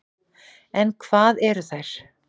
En hvað eru þær?